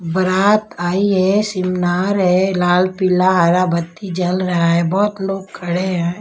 बरात आई है सिमनार है लाल पीला हरा बत्ती जल रहा है बहोत लोग खड़े हैं।